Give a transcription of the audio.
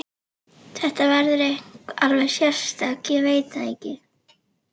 Þetta verður eitthvað alveg sérstakt, ég veit það.